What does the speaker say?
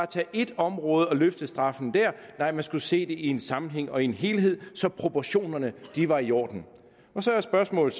tage ét område og løfte straffen der nej man skulle se det i en sammenhæng og i en helhed så proportionerne var i orden så er spørgsmålet